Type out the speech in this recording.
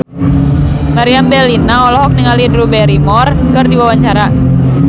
Meriam Bellina olohok ningali Drew Barrymore keur diwawancara